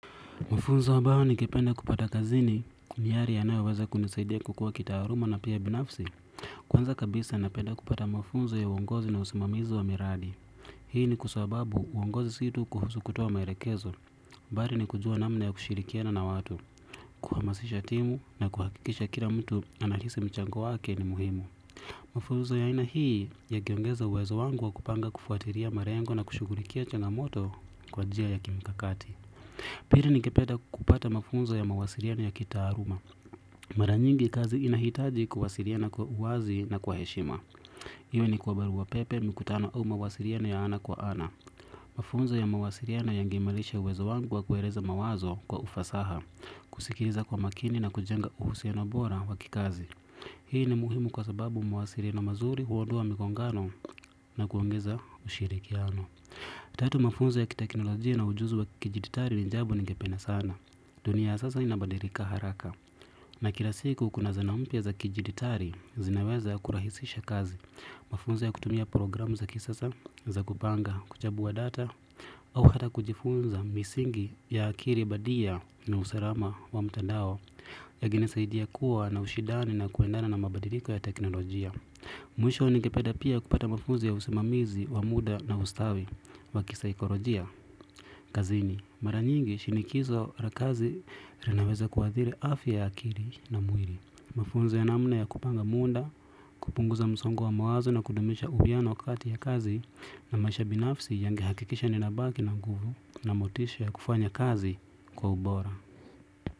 Mafunzo ambayo ningependa kupata kazini ni yale yanaweyoweza kunisaidia kukuwa kitaaluma na pia binafsi. Kwanza kabisa napenda kupata mfunzo ya uongozi na usimamizo wa miradi. Hii ni kwa sababu uongozi si tu kuhusu kutoa maelekezo bali ni kujua namna ya kushirikiana na watu. Kuhamasisha timu na kuhakikisha kila mtu anahisi mchango wake ni muhimu. Mafunzo ya aina hii yakiongeza uwezo wangu wa kupanga kufuatilia malengo na kushughulikia changamoto kwa jia ya kimikakati. Pili ningependa kupata mafunzo ya mawasiliano ya kitaaluma. Mara nyingi kazi inahitaji kuwasiliana kwa uwazi na kwa heshima. Iwe ni kwa barua pepe mikutano au mawasiliano ya ana kwa ana. Mafunzo ya mawasiliano yangeimarisha uwezo wangu wa kueleza mawazo kwa ufasaha. Kusikiza kwa makini na kujenga uhusiano bora wa kikazi. Hii ni muhimu kwa sababu mawasiliano mazuri huondoa mikongano na kuongeza ushirikiano. Tatu mafunzo ya kiteknolojia na ujuzi wa kidijitali ni jambo ningependa sana. Dunia sasa inabadilika haraka na kila siku kuna zana mpya za kidijitali zinaweza kurahisisha kazi mafunzo ya kutumia programu za kisasa za kupanga kuchambua data au hata kujifunza misingi ya akili bandia na uslama wa mtandao yangenisaidia kuwa na ushindani na kuendana na mabadiliko ya teknoljia. Mwisho nikependa pia kupata mafunzo ya usimamizi, wa muda na ustawi, wa kisa ikolojia kazini mara nyingi shinikizo la kazi linaweza kuadhiri afya ya akili na mwili, mafunzo ya namna ya kupanga muda kupunguza msongo wa mawazo na kudumisha uwiano kati ya kazi na maisha binafsi yangehakikisha ninabaki na guvu na motisha ya kufanya kazi kwa ubora.